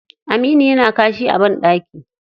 Aminu yana kashi a ɓandaki.